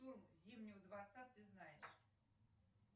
зимнего дворца ты знаешь